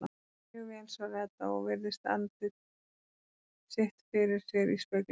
Mjög vel, svarar Edda og virðir andlit sitt fyrir sér í speglinum.